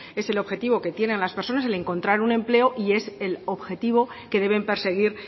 es el objetivo que tienen las personas el encontrar un empleo y es el objetivo que deben perseguir